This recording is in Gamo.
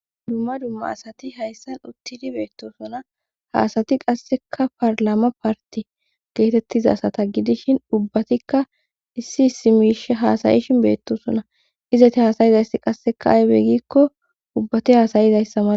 Dumma dumma asati hayssan uttidi beettosuna haasati qasseka parlama parti geetettiza sata gidishin ubbatikka issi isimish haasayishin beettosuna izeti haasayizaysi qasseka aybe gikko ubbati haasayizayssama